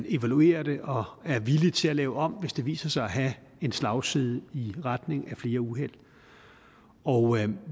evaluerer det og er villige til at lave om hvis det viser sig at have en slagside i retning af flere uheld og